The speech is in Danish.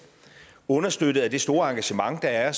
understøttet af det store engagement der er